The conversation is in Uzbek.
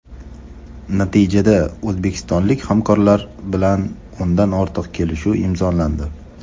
Natijada o‘zbekistonlik hamkorlar bilan o‘ndan ortiq kelishuv imzolandi.